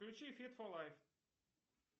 включи фит фо лайф